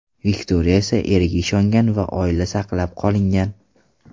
Viktoriya esa eriga ishongan va oila saqlab qolingan.